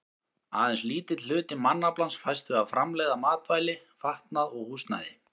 Aðeins lítill hluti mannaflans fæst við að framleiða matvæli, fatnað og húsnæði.